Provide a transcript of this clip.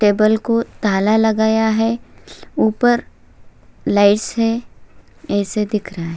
Table को ताला लगाया है ऊपर लाइट्स है ऐसा दिख रहा है।